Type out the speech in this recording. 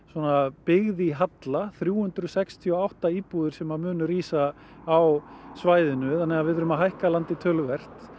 byggð í halla þrjú hundruð sextíu og átta íbúðir sem munu rísa á svæðinu þannig að við þurfum að hækka landið töluvert